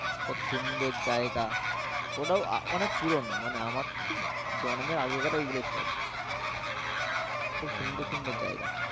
কতো সুন্দর জায়গা ওটাও অনেক পুরনো মানে আমার তো জন্মের আগেকার এইগুলো সব। খুব সুন্দর সুন্দর জায়গা